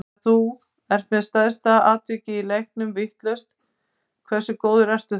Ef þú ert með stærsta atvikið í leiknum vitlaust, hversu góður ertu þá?